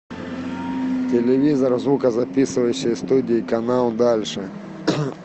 телевизор в звукозаписывающей студии канал дальше